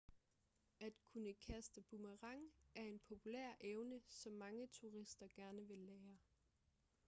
at kunne kaste med boomerang er en populær evne som mange turister gerne vil lære